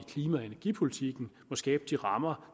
klima og energipolitikken må skabe de rammer